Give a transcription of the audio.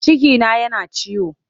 Cikina yana ta ciwo.